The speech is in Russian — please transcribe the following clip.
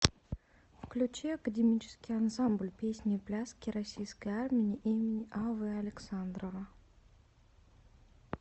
включи академический ансамбль песни и пляски российской армии имени а в александрова